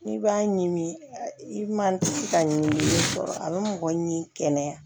N'i b'a ɲimi i ma se ka ɲimi fɔlɔ a bɛ mɔgɔ ɲimi kɛnɛya